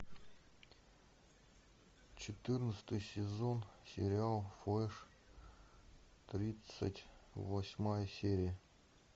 четырнадцатый сезон сериал флэш тридцать восьмая серия